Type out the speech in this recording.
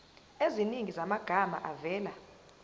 eziningi zamagama avela